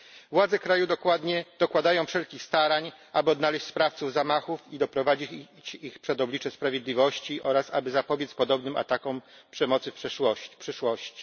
Władze kraju dokładają wszelkich starań, aby odnaleźć sprawców zamachów i doprowadzić ich przed oblicze sprawiedliwości oraz aby zapobiec podobnym atakom przemocy w przyszłości.